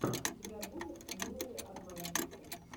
у тебя будет милые обманщицы